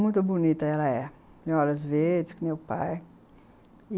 Muito bonita ela é. Tem olhos verdes, que nem o pai.